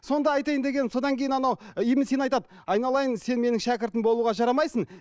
сонда айтайын дегенім содан кейін анау ибн сина айтады айналайын сен менің шәкіртім болуға жарамайсың